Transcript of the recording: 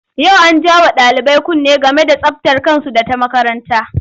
Yau an ja wa ɗalibai kunne game da tsabtar kansu da ta makaranta.